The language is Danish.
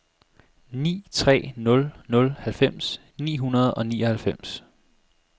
ni tre nul nul halvfems ni hundrede og nioghalvfems